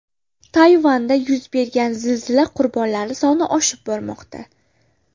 Tayvanda yuz bergan zilzila qurbonlari soni oshib bormoqda .